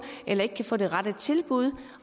eller få det rette tilbud